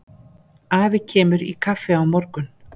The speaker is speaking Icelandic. Afi kemur í kaffi á morgun.